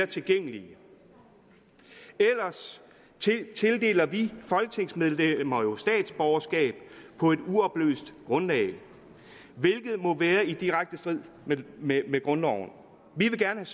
tilgængelige ellers tildeler vi folketingsmedlemmer jo statsborgerskab på et uoplyst grundlag hvilket må være i direkte strid med grundloven vi vil gerne